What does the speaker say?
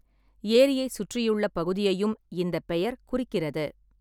ஏரியைச் சுற்றியுள்ள பகுதியையும் இந்தப் பெயர் குறிக்கிறது.